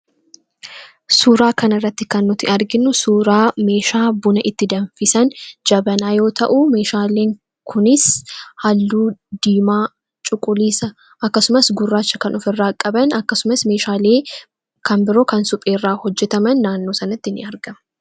Suuraa kanarratti kan nuti arginu suuraa meeshaa buna itti danfisan jabanaa yoo ta'u , meeshaaleen kunis halluu diimaa, cuquliisa akkasumas gurraacha kan ofirraa qaban akkasumas meeshaalee kan biroo kan supheerraa hojjataman naannoo sanatti ni argamu.